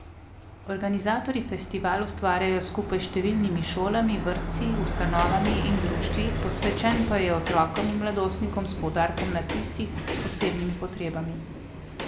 Organizatorji festival ustvarjajo skupaj s številnimi šolami, vrtci, ustanovami in društvi, posvečen pa je otrokom in mladostnikom s poudarkom na tistih, s posebnimi potrebami.